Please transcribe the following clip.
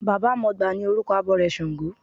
Baba mọgbà ni orúkọ abọrẹ̀ ṣàngó.